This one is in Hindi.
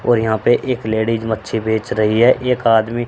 और यहां पे एक लेडीज मच्छी बेच रही है एक आदमी --